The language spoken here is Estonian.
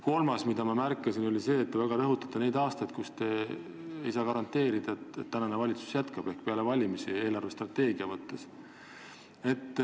Kolmandaks ma märkasin, et te väga rõhutasite neid aastaid, mille kohta te ei saa eelarvestrateegia mõttes midagi garanteerida, sest te ei tea, kas tänane valitsus peale valimisi jätkab.